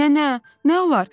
"Nənə, nə olar?